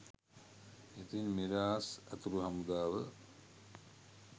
ඉතින් මිරාස් ඇතුලු හමුදාව